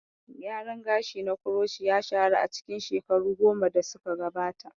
Gyaran gashi na kuroci ya shahara a cikin shekaru goma da suka gabata.